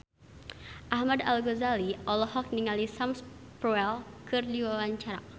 Ahmad Al-Ghazali olohok ningali Sam Spruell keur diwawancara